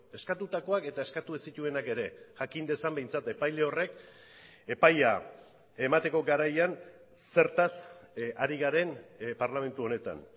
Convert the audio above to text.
eskatutakoak eta eskatu ez zituenak ere jakin dezan behintzat epaile horrek epaia emateko garaian zertaz ari garen parlamentu honetan